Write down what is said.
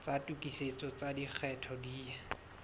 tsa tokisetso tsa lekgetho di